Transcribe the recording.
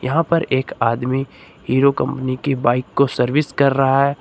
यहां पर एक आदमी हीरो कंपनी की बाइक को सर्विस कर रहा है।